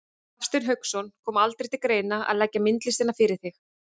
Hafsteinn Hauksson: Kom aldrei til greina að leggja myndlistina fyrir þig?